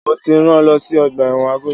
Mo ti rán lọ sí ọgbà ẹ̀wọ̀n Agodi!